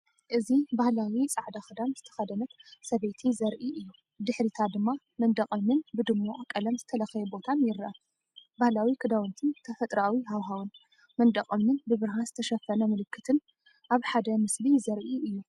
እዚ ባህላዊ ጻዕዳ ክዳን ዝተኸድት ሰበይቲ ዘርኢ እዩ። ብድሕሪታ ድማ መንደቕ እምኒን ብድሙቕ ቀለም ዝተለኽየ ቦታን ይርአ። ባህላዊ ክዳውንትን ተፈጥሮኣዊ ሃዋህውን! መንደቕ እምንን ብብርሃን ዝተሸፈነ ምልክትን ኣብ ሓደ ምስሊ ዘርኢ እዩ።